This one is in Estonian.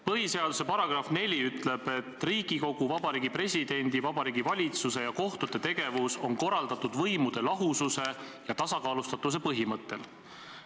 Põhiseaduse § 4 ütleb, et Riigikogu, Vabariigi Presidendi, Vabariigi Valitsuse ja kohtute tegevus on korraldatud võimude lahususe ja tasakaalustatuse põhimõttel.